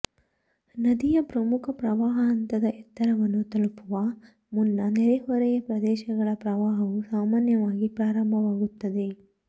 ನದಿಯ ಪ್ರಮುಖ ಪ್ರವಾಹ ಹಂತದ ಎತ್ತರವನ್ನು ತಲುಪುವ ಮುನ್ನ ನೆರೆಹೊರೆಯ ಪ್ರದೇಶಗಳ ಪ್ರವಾಹವು ಸಾಮಾನ್ಯವಾಗಿ ಪ್ರಾರಂಭವಾಗುತ್ತದೆ